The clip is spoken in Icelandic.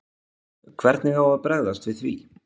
Hvernig á að bregðast við því?